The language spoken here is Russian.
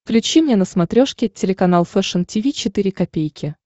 включи мне на смотрешке телеканал фэшн ти ви четыре ка